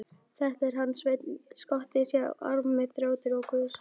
Þetta er hann Sveinn skotti, sá armi þrjótur og guðsafneitari.